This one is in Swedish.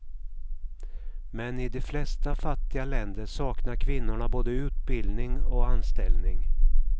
Men i de flesta fattiga länder saknar kvinnorna både utbildning och anställning.